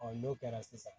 n'o kɛra sisan